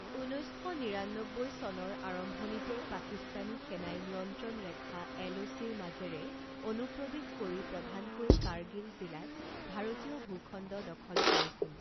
ঊনৈছ শ নিৰান্নব্বৈ চনৰ আৰম্ভণিতে পাকিস্তানী সেনাই নিয়ন্ত্ৰণ ৰেখা এলঅ'চিৰ মাজেৰে অনুপ্ৰৱেশ কৰি প্ৰধানকৈ কাৰ্গিল জিলাত ভাৰতীয় ভূখণ্ড দখল কৰিছিল।